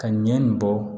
Ka ɲɛ nin bɔ